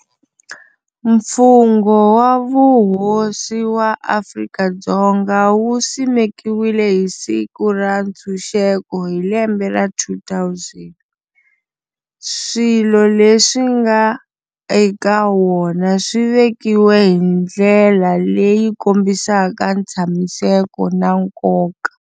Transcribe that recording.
Mfungho wa Vuhosi wa Afrika-Dzonga wu simekiwile hi Siku ra Ntshuxeko hi lembe ra 2000. Swilo leswi nga eka wona swivekiwe hi ndlela leyi kombisaka ntshamiseko na nkoka.